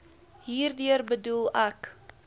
hierdeur bedoel ek